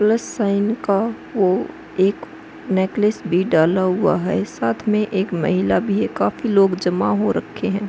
Plus sign का वो एक नेकलेस भी डाला हुआ है साथ में एक महिला भी है काफी लोग जमा हो रक्खे है।